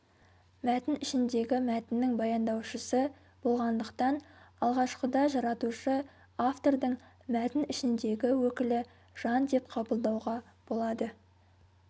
мәтін ішіндегі мәтіннің баяндаушысы болғандықтан алғашқыда жаратушы-автордың мәтін ішіндегі өкілі жан деп қабылдауға болады